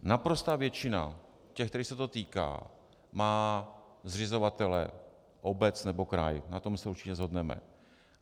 Naprostá většina těch, kterých se to týká, má zřizovatele, obec nebo kraj, na tom se určitě shodneme.